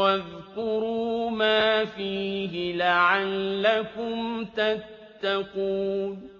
وَاذْكُرُوا مَا فِيهِ لَعَلَّكُمْ تَتَّقُونَ